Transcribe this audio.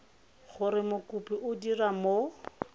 gore mokopi o dira mo